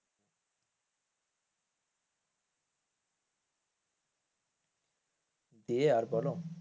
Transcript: দিয়ে আর বোলো?